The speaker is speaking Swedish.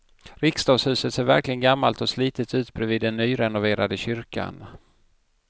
Riksdagshuset ser verkligen gammalt och slitet ut bredvid den nyrenoverade kyrkan.